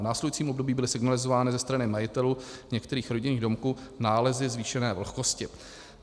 V následujícím období byly signalizovány ze strany majitelů některých rodinných domků nálezy zvýšené vlhkosti.